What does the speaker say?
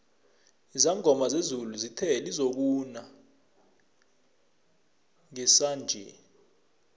izangoma zezulu zithe lizokuna ngesinanje